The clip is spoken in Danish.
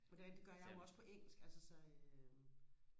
og det er rigtigt det gør jeg jo også på engelsk altså så øh